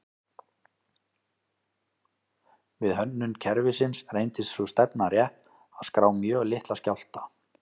Við hönnun kerfisins reyndist sú stefna rétt að skrá mjög litla skjálfta.